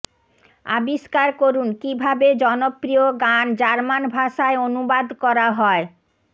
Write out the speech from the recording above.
আবিষ্কার করুন কিভাবে জনপ্রিয় গান জার্মান ভাষায় অনুবাদ করা হয়